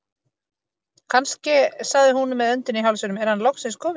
Kannske sagði hún með öndina í hálsinum, er hann loksins kominn